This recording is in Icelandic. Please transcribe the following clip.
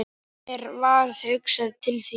Mér varð hugsað til þín.